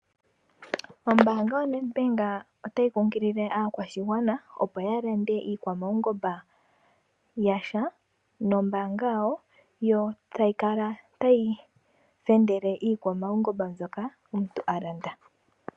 Ombaanga yo NET Bank otayi kungilile aakwashigwana opo ya lande iikwamaungomba yasha nombaanga yawo. Yo tayi kala tayi fendele iikwamaungomba mbyoka omuntu alanda.